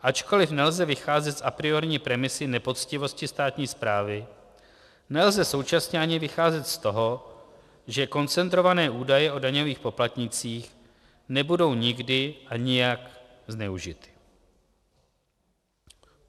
Ačkoli nelze vycházet z apriorní premisy nepoctivosti státní správy, nelze současně ani vycházet z toho, že koncentrované údaje o daňových poplatnících nebudou nikdy a nijak zneužity.